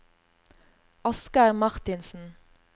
Asgeir Marthinsen